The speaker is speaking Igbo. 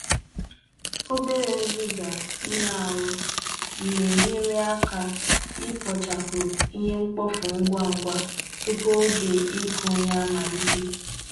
Obere nziza ihe ahụ na-enyere aka ikpochapụ ihe mkpofu ngwa ngwa tupu oge ịkụ ihe amalite.